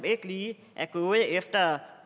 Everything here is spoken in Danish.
ikke lige er gået efter